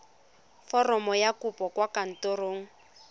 foromo ya kopo kwa kantorong